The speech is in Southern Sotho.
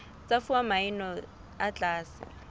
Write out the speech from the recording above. tsa fuwa maemo a tlase